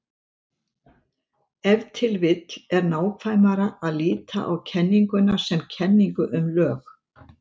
Ef til vill er nákvæmara að líta á kenninguna sem kenningu um lög.